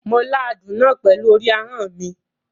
Mo la àádún náà pẹ̀lú orí ahọ́n mi.